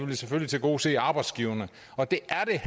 vil selvfølgelig tilgodese arbejdsgiverne og det